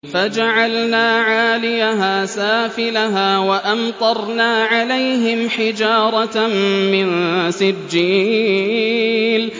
فَجَعَلْنَا عَالِيَهَا سَافِلَهَا وَأَمْطَرْنَا عَلَيْهِمْ حِجَارَةً مِّن سِجِّيلٍ